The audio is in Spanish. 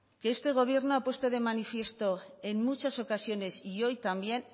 que este gobierno ha puesto de manifiesto en muchas ocasiones y hoy también